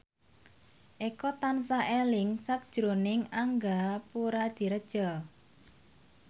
Eko tansah eling sakjroning Angga Puradiredja